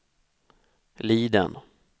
Liden